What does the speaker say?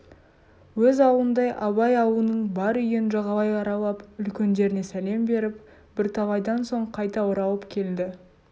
өз аулындай абай аулының бар үйін жағалай аралап үлкендеріне сәлем беріп бірталайдан соң қайта оралып келді